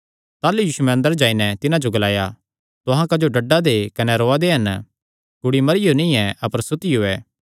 ताह़लू यीशुयैं अंदर जाई नैं तिन्हां जो ग्लाया तुहां क्जो डड्डा दे कने रौआ दे हन कुड़ी मरियो नीं ऐ अपर सुतियो ऐ